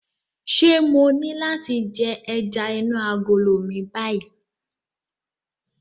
Ṣé mo ní láti jẹ ẹja inú agolo mi báyìí?